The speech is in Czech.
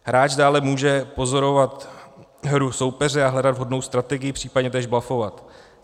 Hráč dále může pozorovat hru soupeře a hledat vhodnou strategii, případně též blufovat.